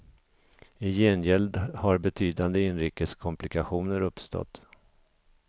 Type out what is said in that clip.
I gengäld har betydande inrikes komplikationer uppstått.